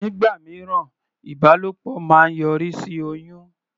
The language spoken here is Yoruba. Nígbà mìíràn, ìbálòpọ̀ máa ń yọrí sí oyún.